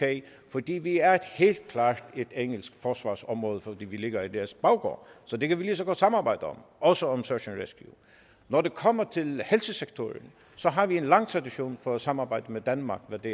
fordi vi er helt klart et engelsk forsvarsområde fordi vi ligger i deres baggård så det kan vi lige så godt samarbejde om også om search and rescue når det kommer til helsesektoren har vi en lang tradition for at samarbejde med danmark hvad det